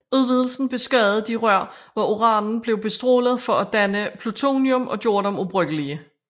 Udvidelsen beskadigede de rør hvor uranen blev bestrålet for at danne plutonium og gjorde dem ubrugelige